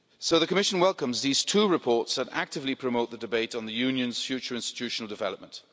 The Commission welcomes these two reports that actively promote the debate on the Union's future institutional development.